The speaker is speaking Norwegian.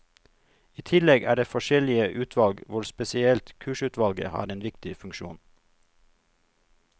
I tillegg er det forskjellige utvalg hvor spesielt kursutvalget har en viktig funksjon.